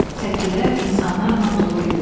Səkilər insanlarla dolu idi.